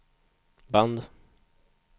band